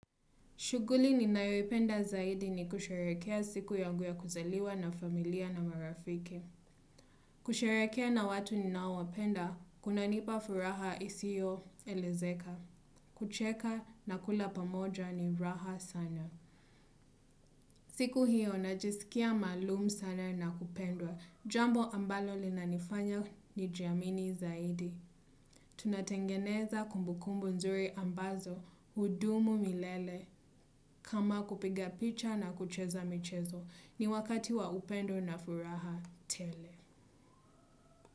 Shuguli ninayoipenda zaidi ni kusharehekea siku yangu ya kuzaliwa na familia na marafiki. Kusharehekea na watu ni nawapenda, kunanipa furaha isiyo elezeka. Kucheka na kula pamoja ni raha sana. Siku hiyo, najisikia maalumu sana na kupendwa. Jambo ambalo linanifanya ni jiamini zaidi. Tunatengeneza kumbukumbu nzuri ambazo, hudumu milele. Kama kupiga picha na kucheza michezo ni wakati wa upendo na furaha tele.